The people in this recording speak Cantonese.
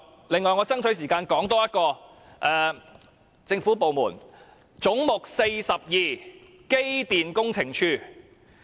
另外，我要爭取時間多說一個政府部門，即"總目 42― 機電工程署"。